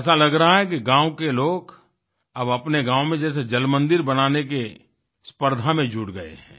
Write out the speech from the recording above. ऐसा लग रहा है कि गाँव के लोग अब अपने गाँव में जैसे जल मंदिर बनाने के स्पर्धा में जुट गए हैं